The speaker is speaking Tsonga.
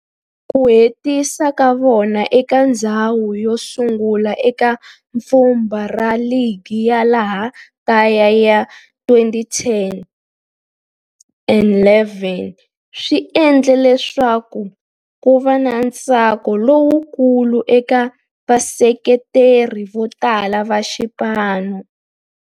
Ku hetisa ka vona eka ndzhawu yosungula eka pfhumba ra ligi ya laha kaya ya 2010-11 swi endle leswaku kuva na ntsako lowukulu eka vaseketeri votala va xipano.